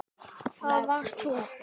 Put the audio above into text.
Það varst þú.